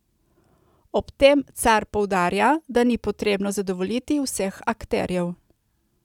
Ob tem Car poudarja, da ni potrebno zadovoljiti vseh akterjev.